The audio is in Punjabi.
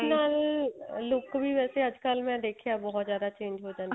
ਨਾਲ look ਵੀ ਅੱਜਕਲ ਮੈਂ ਦੇਖਿਆ ਬਹੁਤ ਜਿਆਦਾ change ਹੋ ਜਾਂਦੀ